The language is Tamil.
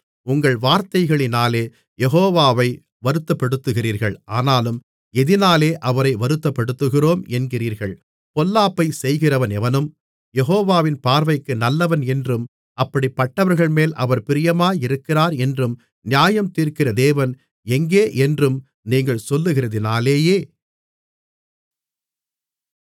உங்கள் வார்த்தைகளினாலே யெகோவாவை வருத்தப்படுத்துகிறீர்கள் ஆனாலும் எதினாலே அவரை வருத்தப்படுத்துகிறோம் என்கிறீர்கள் பொல்லாப்பைச் செய்கிறவனெவனும் யெகோவாவின் பார்வைக்கு நல்லவன் என்றும் அப்படிப்பட்டவர்கள்மேல் அவர் பிரியமாயிருக்கிறாரென்றும் நியாயந்தீர்க்கிற தேவன் எங்கேயென்றும் நீங்கள் சொல்லுகிறதினாலேயே